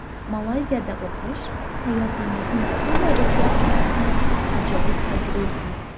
Malayziyada o‘qish hayotingizni butunlay o‘zgartiradigan ajoyib tajriba.